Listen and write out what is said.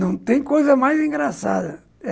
Não tem coisa mais engraçada.